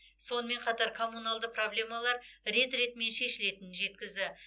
сонымен қатар коммуналды проблемалар рет ретімен шешілетінін жеткізді